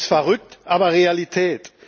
das ist verrückt, aber Realität.